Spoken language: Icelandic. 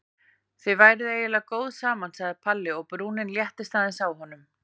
Þið væruð eiginlega góð saman sagði Palli og brúnin léttist aðeins á honum.